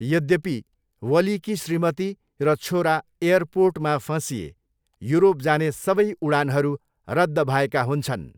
यद्यपि, वलीकी श्रीमती र छोरा एयरपोर्टमा फँसिए, युरोप जाने सबै उडानहरू रद्द भएका हुन्छन्।